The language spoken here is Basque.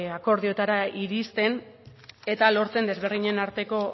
akordiotara iristen eta lortzen desberdinen arteko